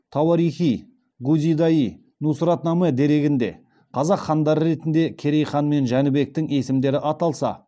тауарих и гузида йи нусратнаме дерегінде қазақ хандары ретінде керей хан мен жәнібектің есімдері аталса